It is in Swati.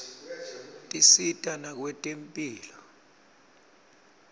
tisita nakwetemphilo